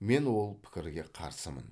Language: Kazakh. мен ол пікірге қарсымын